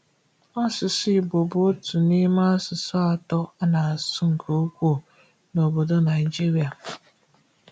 Asụsụ Igbo bụ otu n’ime asụsụ atọ a na-asụ nke ukwuu n’ obodo Nigeria.